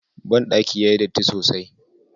Bandaki yayi datti sosai.